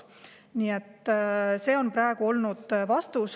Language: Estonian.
Nii et see on praegu olnud vastus.